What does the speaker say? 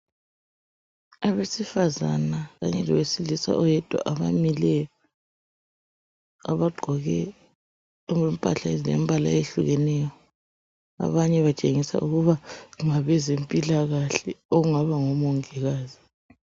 Abesifazana kanye lowesilisa oyedwa abamileyo Abagqoke impahla ezilembala ehlukeneyo. Abanye batshengisa ukuba ngabezempilakahle. Okungabs ngomongikazi.